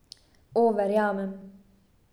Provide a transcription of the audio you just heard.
O, verjamem.